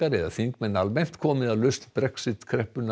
eða þingmenn almennt komi að lausn Brexit kreppunnar